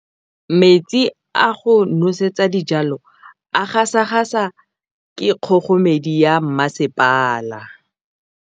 Metsi a go nosetsa dijalo a gasa gasa ke kgogomedi ya masepala.